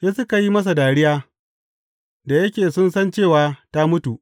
Sai suka yi masa dariya, da yake sun san cewa, ta mutu.